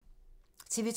TV 2